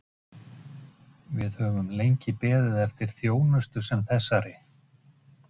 Smæsta kornið þyrlast hins vegar upp og berst líkt og grugg í vatni.